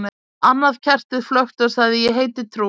Annað kertið flökti og sagði: Ég heiti trú.